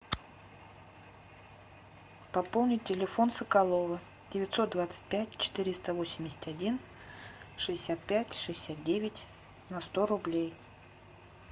пополнить телефон соколова девятьсот двадцать пять четыреста восемьдесят один шестьдесят пять шестьдесят девять на сто рублей